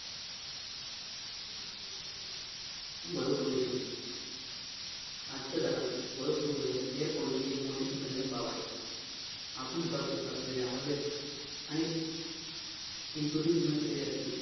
वायू प्रदूषण आजच्या जगात वायू प्रदूषण air pollution एक मोठी चिंताजनक भाव आहे आपण श्वास घेत असलेल्या हवेत अनेक असते